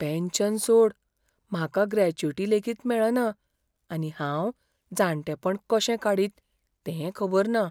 Pension सोड, म्हाका gratuity लेगीत मेळना आनी हांव जाणटेपण कशें काडीत तें खबर ना.